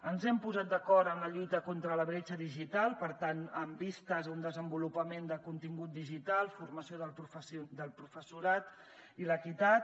ens hem posat d’acord amb la lluita contra la bretxa digital per tant amb vistes a un desenvolupament de contingut digital formació del professorat i l’equitat